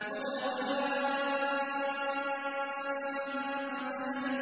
مُدْهَامَّتَانِ